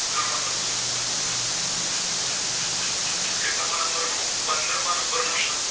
પદરમાં number નું